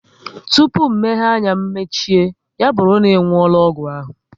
Tụpụ mmehie anya mechie, ya bụrụ na ị nwuola ọgwụ ahụ